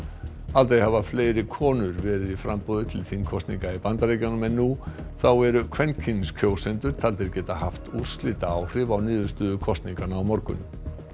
aldrei hafa fleiri konur verið í framboði til þingkosninga í Bandaríkjunum en nú þá eru kvenkyns kjósendur taldir geta haft úrslitaáhrif á niðurstöðu kosninganna á morgun